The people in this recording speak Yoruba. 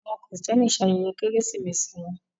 Àwọn Kristẹni ń ṣe ayẹyẹ keresimesi wọn